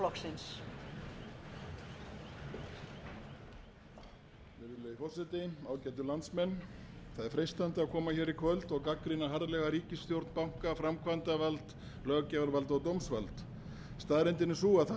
ágætu landsmenn það er freistandi að koma hér í kvöld og gagnrýna harðlega ríkisstjórn banka framkvæmdarvald löggjafarvald og dómsvald staðreyndin er sú að það er